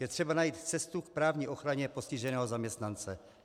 Je třeba najít cestu k právní ochraně postiženého zaměstnance.